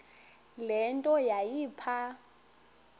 le nto yayipha